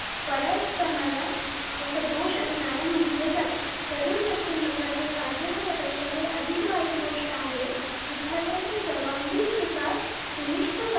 बऱ्याच प्रमाणात अं सदोष असणाऱ्या म्हंटले जाते तरुण व्यक्तिमत्वाचे फायदे होण्यापेक्षा हे अधिक वाईट गोष्ट आहे विद्यार्थ्यांची सर्वांगीण विकास सुनिच्छ